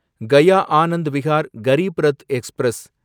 Gaya Anand Vihar Garib Rath express